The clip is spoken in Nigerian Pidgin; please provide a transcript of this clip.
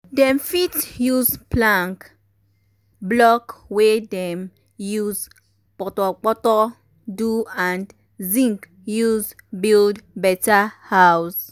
dem fit use plank block um um wey dem use um portorportor um do and zinc use build better house.